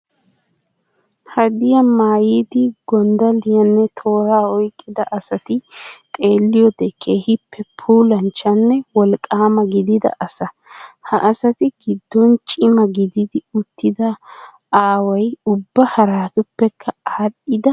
Hadiyaa maayidi gonddalliyaanne tooraa oyqqida asati xeelliyoode keehiippe puulanchchanne wolqqaama gidida asa. Ha asati giddon cima gididi uttida aaway ubba haraatuppekka aadhdhidi wolqqaama.